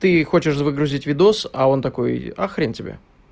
ты хочешь выгрузить видос а он такой а хрен тебе